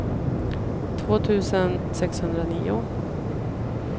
två tusen sexhundranio